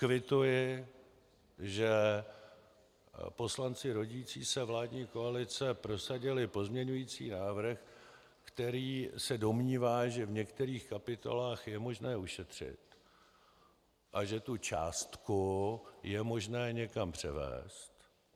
Kvituji, že poslanci rodící se vládní koalice prosadili pozměňovací návrh, který se domnívá, že v některých kapitolách je možné ušetřit a že tu částku je možné někam převést.